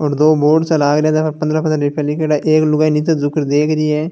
और दो बोर्ड सा लग रिया है पंद्रह पंद्रह रूपीया लिखयाड़ा एक लुगाई नीचे झुक कर देख रही है